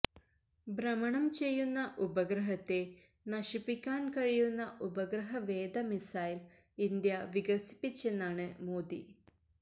ഭ്രമണം ചെയ്യുന്ന ഉപഗ്രഹത്തെ നശിപ്പിക്കാന് കഴിയുന്ന ഉപഗ്രഹവേധ മിസൈല് ഇന്ത്യ വികസിപ്പിച്ചെന്നാണ് മോദി